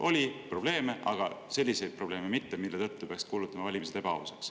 Oli probleeme, aga mitte selliseid probleeme, mille tõttu peaks kuulutama valimised ebaausaks.